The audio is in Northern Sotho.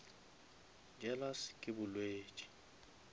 jealous ke bolwetši